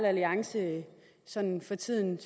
alliance sådan for tiden